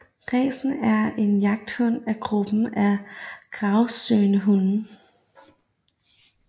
Racen er en jagthund af gruppen af gravsøgende hunde